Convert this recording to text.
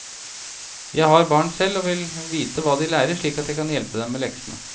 Jeg har barn selv og vil vite hva de lærer slik at jeg kan hjelpe dem med leksene.